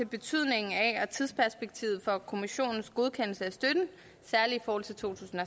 betydningen af og tidsperspektivet for kommissionens godkendelse af støtten særlig for to tusind